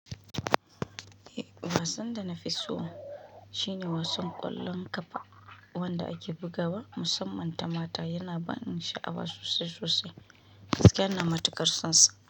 Eh, wasan da na fi so shine wasan ƙwallon ƙafa, wanda ake bugawa. Musamman ta mata yana ba ni sha'awa sosai sosai, gaskiyar ina matuƙar sonsa.